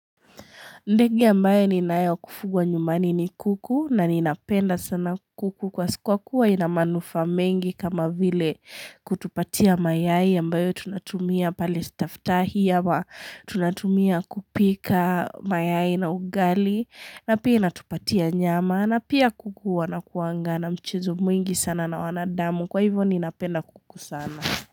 Ndege ambaye ninaye wa kufugwa nyumani ni kuku na ninapenda sana kuku kwa kuwa ina manufaa mengi kama vile kutupatia mayai ambayo tunatumia pale staftahi ama tunatumia kupika mayai na ugali na pia inatupatia nyama na pia kuku wanakuanga na mchezo mwingi sana na wanadamu kwa hivyo ninapenda kuku sana.